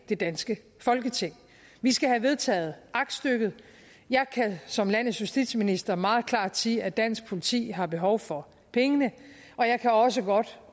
det danske folketing vi skal have vedtaget aktstykket jeg kan som landets justitsminister meget klart sige at dansk politi har behov for pengene og jeg kan også godt